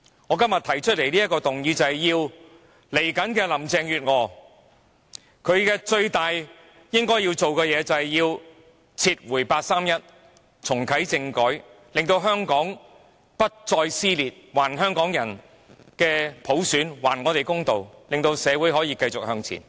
我今天提出的這項議案要求下任特首林鄭月娥以撤回八三一決定和重啟政改作為她最重要的工作，令香港不再撕裂，還香港人普選，還香港人公道，令社會可以繼續向前。